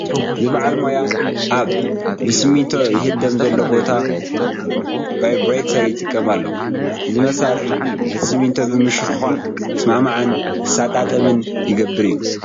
እዚ በዓል ሞያ ኣብ ብስሚንቶ ይህደም ዘሎ ቦታ ባይብሬተር ይጥቀም ኣሎ፡፡ እዚ መሳርሒ ነቲ ስሚንቶ ብምሽኽሻኽ ክስማዕማዕን ክሰጣጠምን ዝገብር እዩ፡፡